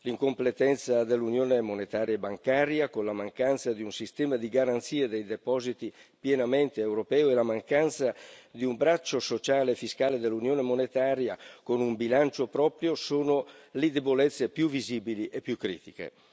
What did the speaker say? L'incompletezza dell'Unione monetaria e bancaria con la mancanza di un sistema di garanzie dei depositi pienamente europeo e la mancanza di un braccio sociale e fiscale dell'Unione monetaria con un bilancio proprio sono le debolezze più visibili e più critiche.